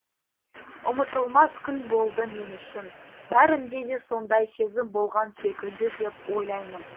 ұмытылмас күн болды мен үшін бәрінде де сондай сезім болған секілді деп ойлаймын